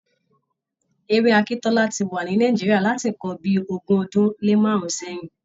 Ewé akíntọ́lá ti wa ní Nàìjíríà láti ǹkan bíi ogún ọdún lé márùn-ún sẹ́yìn.